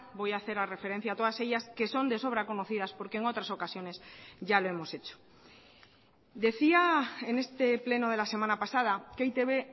voy a hacer la referencia a todas ellas que son de sobra conocidas porque en otras ocasiones ya lo hemos hecho decía en este pleno de la semana pasada que e i te be